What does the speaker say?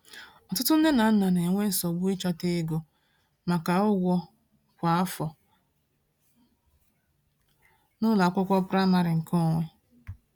Ọtụtụ nne na nna na-enwe nsogbu n’ịchọta ego maka ụgwọ kwa afọ n’ụlọ akwụkwọ praịmarị nke onwe.